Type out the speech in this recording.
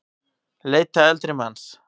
Leita eldri manns